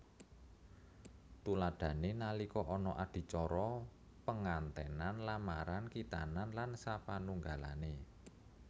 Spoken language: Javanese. Tuladhané nalika ana adicara pengantènan lamaran khitanan lan sapanunggalané